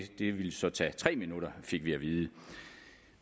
ville så tage tre minutter fik vi at vide